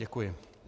Děkuji.